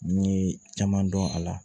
N ye caman dɔn a la